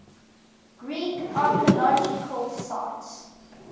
greek archaeological sites